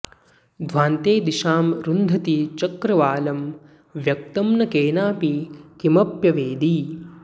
ध्वान्ते दिशां रुन्धति चक्रवालं व्यक्तं न केनापि किमप्यवेदि